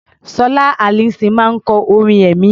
Sọlá Allyson máa ń kọ orin ẹ̀mí.